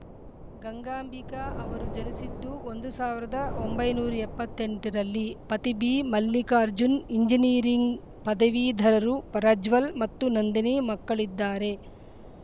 ಗಂಗಾಂಬಿಕ ಅವರು ಜನಿಸಿದ್ದು ಒಂದು ಸಾವಿ ರದ ಒಂಬೈನೂರ ಎಪ್ಪತ್ತ್ ಎಂಟ ರಲ್ಲಿ ಪತಿ ಬಿಮಲ್ಲಿಕಾರ್ಜುನ್‌ ಎಂಜಿನಿಯರಿಂಗ್‌ ಪದವೀಧರರು ಪ್ರಜ್ವಲ್‌ ಮತ್ತು ನಂದಿನಿ ಮಕ್ಕಳಿದ್ದಾರೆ